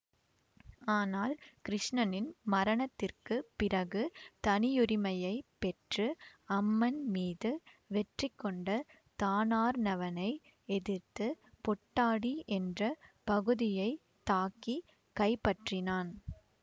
ஆனால் கிருஷ்ணனின் மரணத்திற்கு பிறகு தனியுரிமையைப் பெற்று அம்மன் மீது வெற்றிகொண்ட தானார்ணவனை எதிர்த்து பொட்டாடி என்ற பகுதியை தாக்கி கைப்பற்றினான்